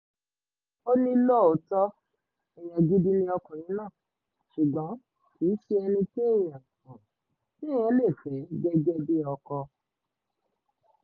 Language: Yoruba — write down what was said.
ó ní lóòótọ́ èèyàn gidi ni ọkùnrin náà ṣùgbọ́n kì í ṣe ẹni téèyàn téèyàn lè fẹ́ gẹ́gẹ́ bíi ọkọ